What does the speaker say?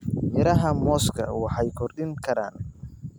Midhaha mooska waxay kordhin karaan.